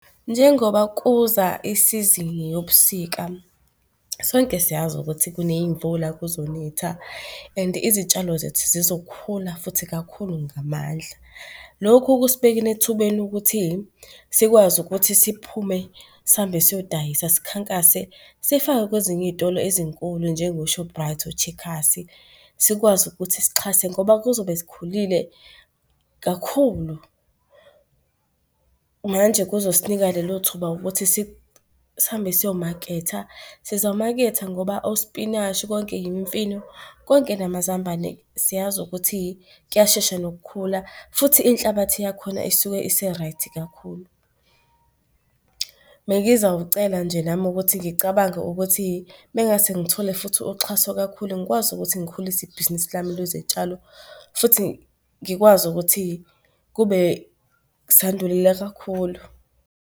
Njengoba kuza isizini yobusika, sonke siyazi ukuthi kuney'mvula, kuzonetha and izitshalo zethu zizokhula futhi kakhulu ngamandla. Lokhu kusibekeni ethubeni lokuthi sikwazi ukuthi siphume sihambe siyodayisa sikhankase, sifakwe kwezinye iy'tolo ezinkulu njengo-Shoprite, o-Checkers, sikwazi ukuthi sixhase ngoba kuzobe zikhulile kakhulu. Manje kuzosinika lelo thuba ukuthi sihambe siyomaketha. Sizamaketha ngoba osipinashi konke yimfino, konke namazambane siyazi ukuthi kuyashesha nokukhula futhi inhlabathi yakhona isuke ise-right kakhulu. Bengizawucela nje nami ukuthi ngicabange ukuthi mengase ngithole futhi uxhaso kakhulu, ngikwazi ukuthi ngikhulisa ibhizinisi lami lezitshalo futhi ngikwazi ukuthi kube kakhulu.